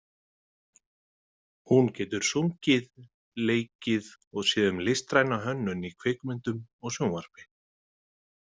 Hún getur sungið, leikið og séð um listræna hönnun í kvikmyndum og sjónvarpi.